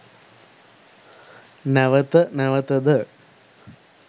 නැවත නැවත ද